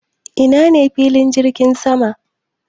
Ina ne filin jirgin sama?